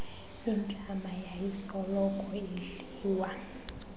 intlama yayisoloko idliwa